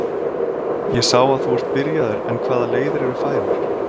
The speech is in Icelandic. Ég sá að þú ert byrjaður en hvaða leiðir eru færar?